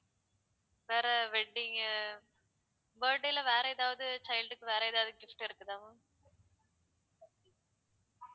வேற wedding உ birthday ல வேற எதாவது child க்கு வேற எதாவது gift இருக்குதா ma'am